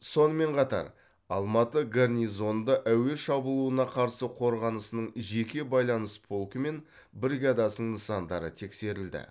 сонымен қатар алматы гарнизонында әуе шабуылына қарсы қорғанысының жеке байланыс полкі мен бригадасының нысандары тексерілді